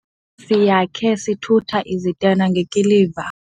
Le ndlu siyakhe sithutha izitena ngekiliva.